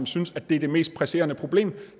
synes at det er det mest presserende problem